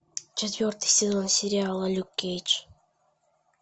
четвертый сезон сериала люк кейдж